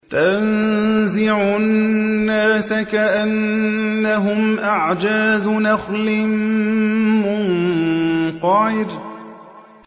تَنزِعُ النَّاسَ كَأَنَّهُمْ أَعْجَازُ نَخْلٍ مُّنقَعِرٍ